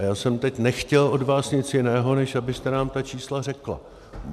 A já jsem teď nechtěl od vás nic jiného, než abyste nám ta čísla řekla.